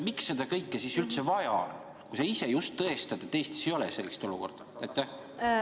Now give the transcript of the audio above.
Miks seda kõike siis üldse vaja on, kui sa ise just tõestad, et Eestis sellist olukorda ei ole?